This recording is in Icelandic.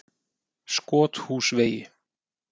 Skothúsvegi